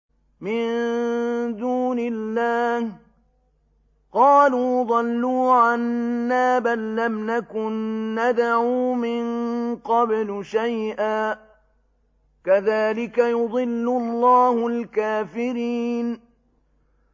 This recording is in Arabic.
مِن دُونِ اللَّهِ ۖ قَالُوا ضَلُّوا عَنَّا بَل لَّمْ نَكُن نَّدْعُو مِن قَبْلُ شَيْئًا ۚ كَذَٰلِكَ يُضِلُّ اللَّهُ الْكَافِرِينَ